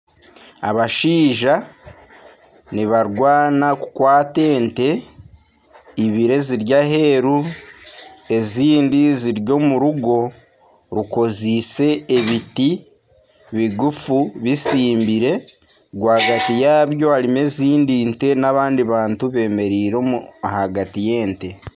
Abashaija nibarwana kukwata ente ibiri eziri aheeru ezindi ziri omu rugo rukoriise ebiti bigufu bitsimbire rwagati yaazo harimu ezindi nte n'abandi bantu beemereire ahagati y'ente